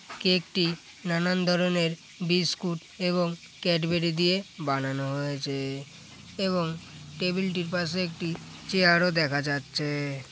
Cake টি নানান ধরনের বিস্কুট এবং ক্যাডবেরি দিয়ে বানানো হয়েছে এবং টেবিল টির পাশে একটি চেয়ার ও দেখা যাচ্ছে।